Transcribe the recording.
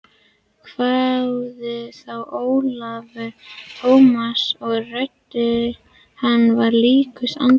hváði þá Ólafur Tómasson og rödd hans var líkust andvarpi.